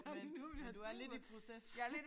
Men men du er lidt i proces